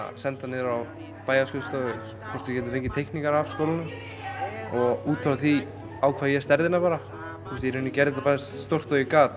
senda niður á bæjarskrifstofu hvort við gætum fengið teikningar af skólanum og út frá því ákvað ég stærðina ég gerði þetta eins stórt og ég gat